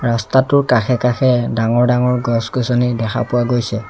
ৰাস্তাটোৰ কাষে কাষে ডাঙৰ ডাঙৰ গছ-গছনি দেখা পোৱা গৈছে।